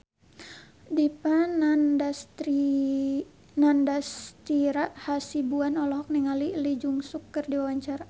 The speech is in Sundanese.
Dipa Nandastyra Hasibuan olohok ningali Lee Jeong Suk keur diwawancara